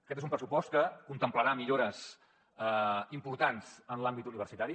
aquest és un pressupost que contemplarà millores importants en l’àmbit universitari